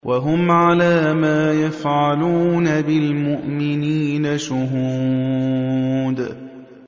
وَهُمْ عَلَىٰ مَا يَفْعَلُونَ بِالْمُؤْمِنِينَ شُهُودٌ